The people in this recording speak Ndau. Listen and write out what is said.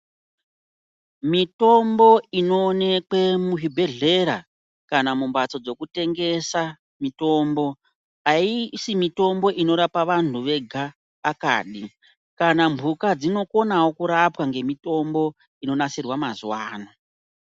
Mitombo inoonekwe muzvibhehlera kana mumbatso dzekutengesa mitomb ,aisi mitombo inorapa vantu vedu kani. Kana mbuka dsinokonawo kurapwa ngemutombo inonasirwe mazuwa ano.